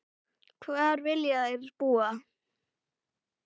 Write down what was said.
Hvar vilja þær búa?